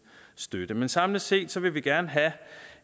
støtte samlet set ser vi vi gerne